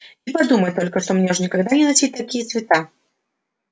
и подумать только что мне уж никогда не носить такие цвета